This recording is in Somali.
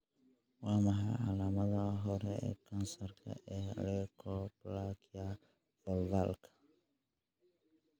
Waa maxay calaamadaha hore ee kansarka ee leukoplakia vulvarka?